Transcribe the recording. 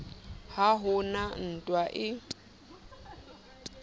ha ho na ntwa e